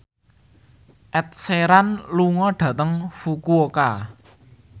Ed Sheeran lunga dhateng Fukuoka